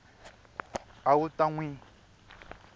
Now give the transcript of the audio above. a wu ta n wi